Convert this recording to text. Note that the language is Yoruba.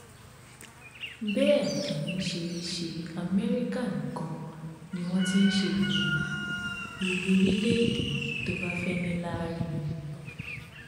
bẹẹ kì í ṣe ṣe amẹríkà nìkan ni wọn ti ń ṣe èyí gbogbo orílẹèdè tó bá fẹẹ níláárí ni